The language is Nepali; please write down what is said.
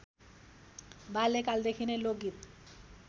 बाल्यकालदेखि नै लोकगीत